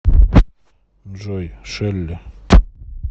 джой шелли